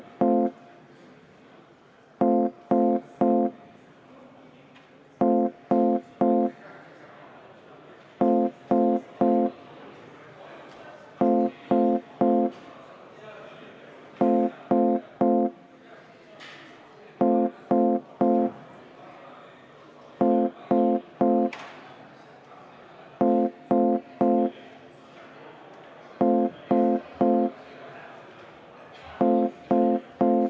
Lugupeetud Riigikogu liikmed, ministrile on avaldatud umbusaldust, kui umbusalduse avaldamise poolt on Riigikogu koosseisu enamus.